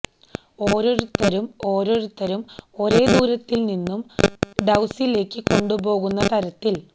ഓരോരുത്തരും ഓരോരുത്തരും ഒരേ ദൂരത്തിൽ നിന്നും ഡൌസിലേക്ക് കൊണ്ടുപോകുന്ന തരത്തിൽ